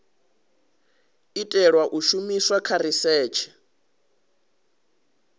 itelwa u shumiswa kha risetshe